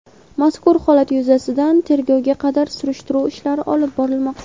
mazkur holat yuzasidan tergovga qadar surishtiruv ishlari olib borilmoqda.